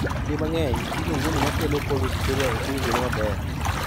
Kinde mang'eny gino wuono makelo cold urticaria ok owinjore maber